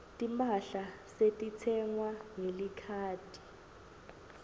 timphahla setitsengwa ngelikhadi